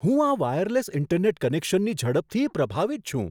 હું આ wireless internet કનેક્શનની ઝડપથી પ્રભાવિત છું.